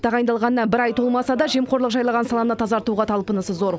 тағайындалғанына бір ай толмаса да жемқорлық жайлаған саланы тазартуға талпынысы зор